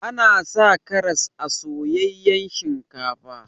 Ana sa karas a soyayyan shinkafa.